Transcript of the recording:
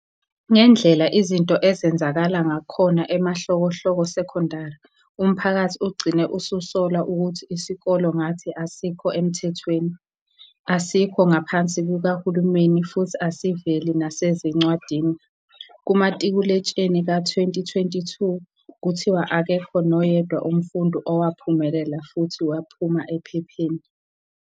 Ngendlela izinto ezenzakala ngakhona emahlokohloko secondary umphakathi ugcine ususola ukuthi isikole ngathi asikho emthethweni, asikho ngaphansi kukahulumeni futhi asiveli nasezincwadini. Kumatikuletsheni ka 2022 kuthiwa akekho noyedwa umfundi owaphumelela futhi waphuma ephepheni.